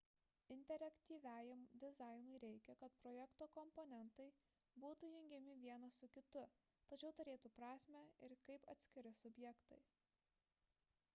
interaktyviajam dizainui reikia kad projekto komponentai būtų jungiami vienas su kitu tačiau turėtų prasmę ir kaip atskiri subjektai